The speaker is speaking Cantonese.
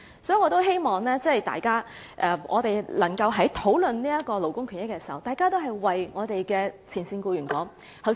所以，我希望大家在討論勞工權益時，也能夠為前線僱員發言。